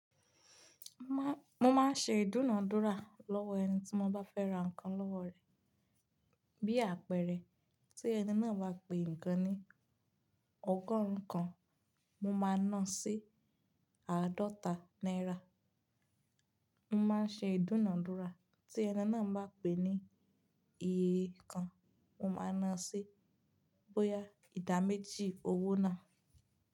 Mo máa ń ṣe ìdúnàádúrà lọ́wọ́ ẹni tí mo bá fẹ́ ra nǹkan lọ́wọ́ rẹ̀. Bí àpẹẹrẹ, tí ẹni náà wa pè nǹkan ní ọgọ́rùn kan, mo ma náà sí àádọ́ta náírà. Mo máa ń ṣe ìdúnàádúrà, tí ẹni náà bá pè ní eé kan, mo máa náà sí bóyá ìdámẹ́jì owó náà.